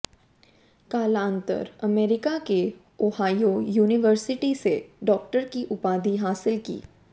कालांतर अमेरिका के Ohio university से डॉक्टर की उपाधि हासिल की